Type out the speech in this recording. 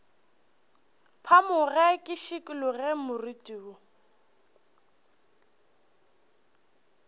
phamoge ke šikologe moriti wo